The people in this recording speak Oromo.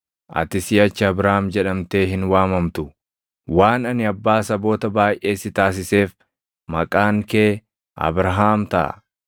Ati siʼachi Abraam jedhamtee hin waamamtu; waan ani abbaa saboota baayʼee si taasiseef maqaan kee Abrahaam taʼa.